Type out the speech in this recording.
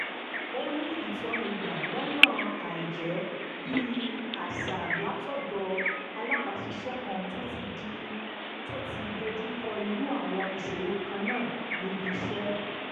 ó rí ìtọ́ni gbà lọ́nà àìjẹ́-bí-àṣà látọ̀dọ̀ alábàáṣiṣẹ́ kan tó ti dojú kọ irú àwọn ìṣòro kan náà níbi iṣẹ́